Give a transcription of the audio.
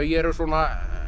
eru svona